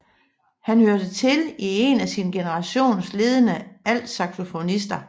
Han hørte til en af sin generations ledende altsaxofonister